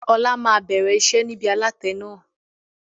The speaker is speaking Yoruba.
Ọlá máa bẹ̀rẹ̀ iṣẹ́ nibi alatẹ náà.